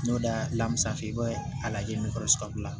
N'o da lamusa fɛ i bɛ a lajɛ n'o kɔrɔsikala